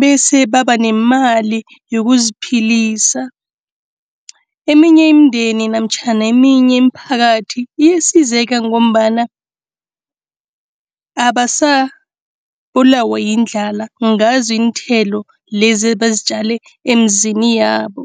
bese baba nemali yokuziphilisa. Eminye imindeni namtjhana eminye imiphakathi iyasizeka ngombana abasabulawa yindlala ngazo iinthelo lezi abazitjale emizini yabo.